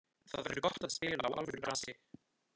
Það verður gott að spila á alvöru grasi.